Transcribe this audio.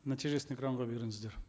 нәтижесін экранға беріңіздер